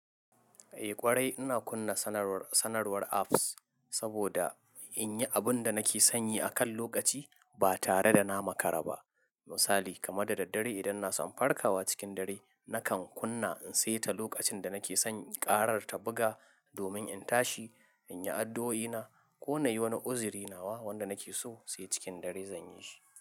Eh ƙwarai ina kunna sanarwar apps saboda in yi abun da nake son yi akan lokaci, ba tare da na makara ba. Misali kaman da daddare idan ina son farkawa cikin dare, nakan kunna in saita lokacin da nake son karar ta buga domin in tashi, in yi addu'oi na ko na yi wani uziri nawa wanda nake so sai cikin dare zan yi shi.